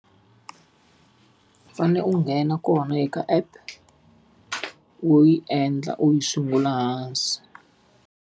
U fanele u nghena kona eka app, u yi endla u yi sungula hansi.